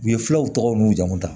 U ye filaw tɔgɔ nu jamu ta